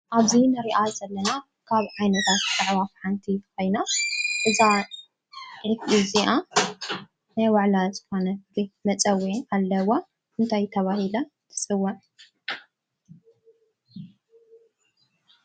ኣብዚ እንሪኣ ዘለና ካብ ዓይነታት ኣዕዋፍ ሓንቲ ኮይና እዛ ዒፍ እዚኣ ናይ ባዕላ ዝኾነ መፀዊዒ ኣለዋ። እንታይ ተባሂላ ትፅዋዕ?